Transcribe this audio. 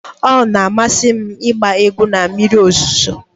Ọ na-amasị m ịgba egwu na mmiri ozuzo.